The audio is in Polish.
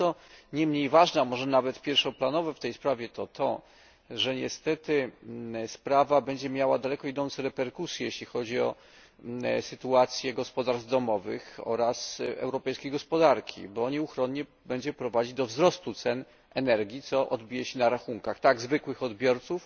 Ale co niemniej ważne, a może nawet pierwszoplanowe w tej sprawie, to fakt, że niestety sprawa będzie miała daleko idące reperkusje, jeśli chodzi o sytuację gospodarstw domowych oraz europejskiej gospodarki, bo inicjatywa ta nieuchronnie będzie prowadzić do wzrostu cen energii, co odbije się na rachunkach tak zwykłych odbiorców